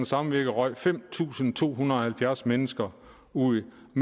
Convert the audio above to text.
samvirke røg fem tusind to hundrede og halvfjerds mennesker ud af